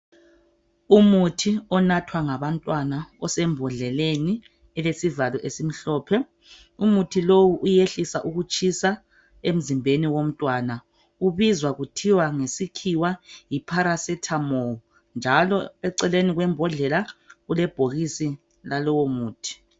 Umuthi onathwa ngabantwana osembodleleni elesivalo esimhlophe. Umuthi lowu uyehlisa ukutshisa emzimbeni womntwana. Ubizwa kuthiwa ngesikhiwa yi"Paracetamol" njalo eceleni kwembodlela kulebhokisi lalowo muthi.